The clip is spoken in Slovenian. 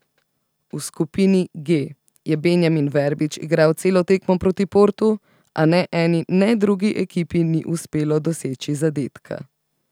V skupini G je Benjamin Verbič igral celo tekmo proti Portu, a ne eni ne drugi ekipi ni uspelo doseči zadetka.